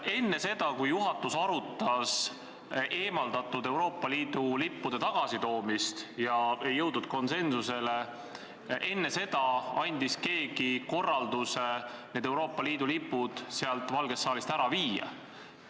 Enne seda, kui juhatus arutas eemaldatud Euroopa Liidu lippude tagasitoomist ega jõudnud konsensusele, andis keegi korralduse Euroopa Liidu lipud Valgest saalist ära viia.